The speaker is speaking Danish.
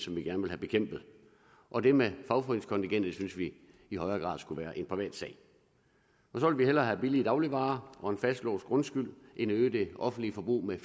vi gerne vil have bekæmpet og det med fagforeningskontingentet synes vi i højere grad skulle være en privatsag så vil vi hellere have billige dagligvarer og en fastlåst grundskyld end øge det offentlige forbrug med